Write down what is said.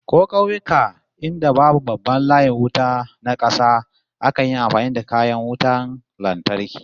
Ko kauyuka inda babu babban layin wuta na kasa, akan yi amfani da kayan wutan lantarki